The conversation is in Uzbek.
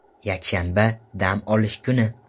Yakshanba, dam olish kuni.